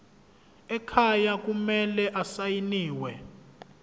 ekhaya kumele asayiniwe